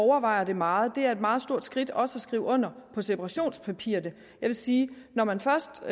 overvejer det meget det er et meget stort skridt også at skrive under på separationspapirerne jeg vil sige at når man først